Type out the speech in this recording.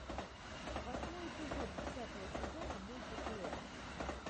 восьмой эпизод десятого сезона мульта клест